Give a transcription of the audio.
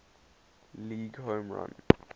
league home run